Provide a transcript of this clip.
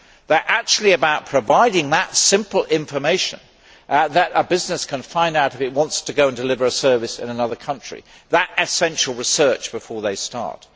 They are actually about providing the simple information that a business needs if it wants to go and deliver a service in another country that essential research before they start.